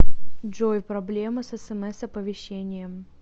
джой проблема с смс оповещением